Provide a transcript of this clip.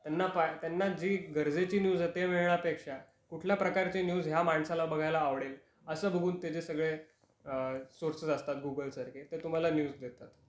त्यांना पा त्यांना जी गरजेची न्यूज आहे ते मिळण्यापेक्षा कुठल्या प्रकारचे न्यूज या माणसाला बघायला आवडेल अस बघून त जे सगळे अ सोर्सेस असता गूगल सारखे, ते तुम्हाला न्यूज देतात.